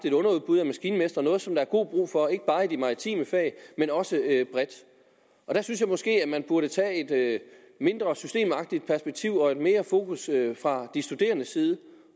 et underudbud af maskinmestre noget som der er god brug for ikke bare i de maritime fag men også bredt jeg synes måske at man der burde tage et mindre systemagtigt perspektiv og have mere fokus fra de studerendes side